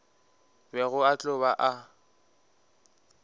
bego a tlo ba a